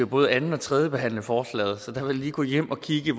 både anden og tredjebehandle forslaget så jeg vil lige gå hjem og kigge